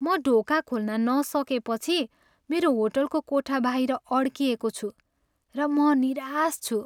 म ढोका खोल्न नसकेपछि मेरो होटलको कोठा बाहिर अड्किएको छु र म निराश छु।